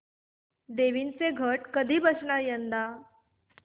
देवींचे घट कधी बसणार यंदा